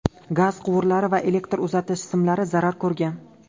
Gaz quvurlari va elektr uzatish simlari zarar ko‘rgan.